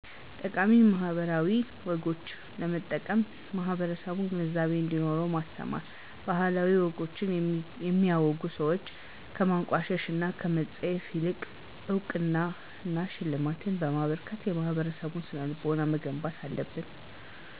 ጠቃሜ ባህላዊ ወጎችን ለመጠበቅ ማህበረሰቡ ግንዛቤ እንዴኖረው ማስተማር። ባህላዊ ወጎችን የሚያወጉ ሰዎችን ከማንቋሸሽ እና ከመፀየፍ ይልቅ እውቅና እና ሽልማት በማበርከት የማህበረሰቡን ስነልቦና መገንባት አለብን።